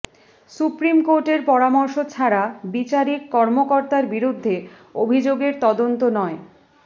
supreme কোর্টের পরামর্শ ছাড়া বিচারিক কর্মকর্তার বিরুদ্ধে অভিযোগের তদন্ত নয়